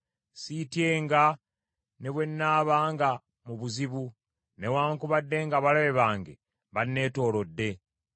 Siityenga ne bwe nnaabanga mu buzibu; newaakubadde ng’abalabe bange banneetoolodde,